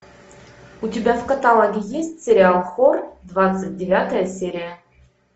у тебя в каталоге есть сериал хор двадцать девятая серия